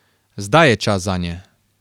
Zdaj je čas zanje!